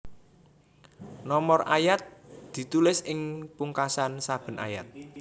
Nomor ayat ditulis ing pungkasan saben ayat